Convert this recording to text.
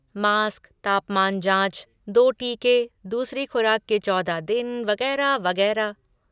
Mask, तापमान जाँच, दो टीके, दूसरी खुराक के चौदह दिन वगैरह, वगैरह।